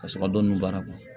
Ka sɔrɔ ka dɔnnin b'a kan